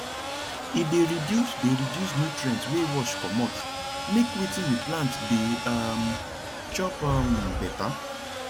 e dey reduce dey reduce nutrient way wash comot make watin we plant dey um chop um better